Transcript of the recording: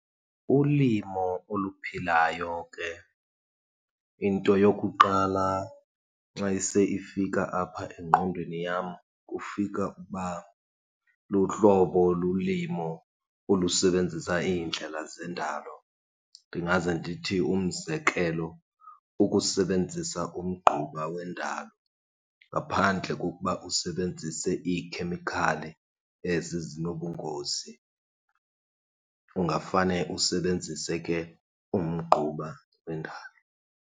Ulimo oluphilayo ke, into yokuqala xa ise ifika apha engqondweni yam kufika ukuba luhlobo lolimo olusebenzisa iindlela zendalo. Ndingaze ndithi, umzekelo, ukusebenzisa umgquba wendalo ngaphandle kokuba usebenzise iikhemikhali ezi zinobungozi. Ungafane usebenzise ke umgquba wendalo.